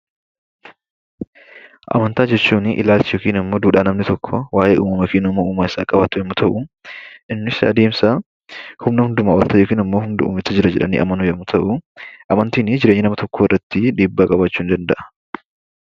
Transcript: Amantaa jechuun ilaalcha yookiin duudhaa namni tokko Uumaa isaaf qabaatu yommuu ta'u, innis adeemsa humna hundumaa ol ta'e yookiin humna hundaa gararraatu jira jedhanii amanuudha. Amantiin jireenya nama tokkoo irratti dhiibbaa qabaachuu ni danda'a.